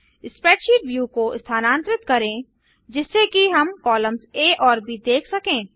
spreadsheet view को स्थानांतरित करें जिससे कि हम कॉलम्स आ और ब देख सकें